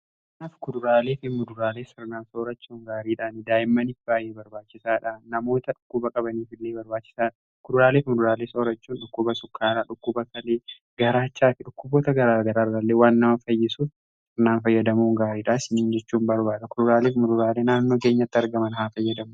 Kaanaaf kuduraalee fi muduraalee sirnan soorachuun gaariidha. Daa'immanif baa'yee barbaachisaadha, namoota dhukkuba qabaniif illee barbaachisaadha. Kuduraaleefi muduraalee soorachuun dhukkuba sukkaaraa, dhukkuba kalee ,garaachaa fi dhukkuboota garaagara irralee waan nama fayyisuf fayyadamuun n gaariidhaas isinin jechuun barbaada kuduraalee fi muduraalee naannoo keenyatti argaman haa fayyadamanuu.